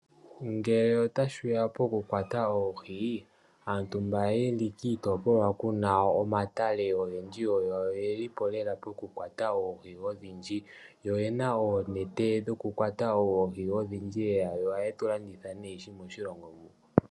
Ngele tashiya poku kwata oohi, aantu mba yeli kiitopolwa kuna omatale ogendji oyo ye lipo poku kwata oohi odhindji moku longitha oonete